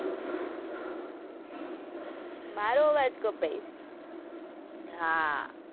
મારો અવાજ કપાય છે? હા.